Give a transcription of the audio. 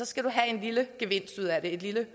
skal du have en lille gevinst ud af det et lille